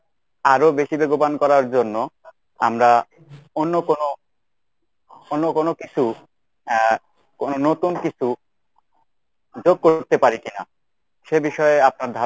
আরো বেশি বেগবান করার জন্য আমরা অন্যকোনো অন্যকোনো কিছু আহ কোনো নতুন কিছু যোগ করতে পারি কিনা? সে বিষয়ে আপনার ধারনা